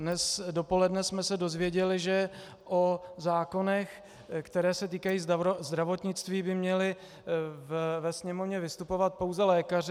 Dnes dopoledne jsme se dozvěděli, že o zákonech, které se týkají zdravotnictví, by měli ve Sněmovně vystupovat pouze lékaři.